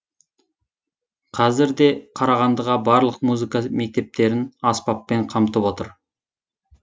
қазір де қарағандыға барлық музыка мектептерін аспаппен қамтып отыр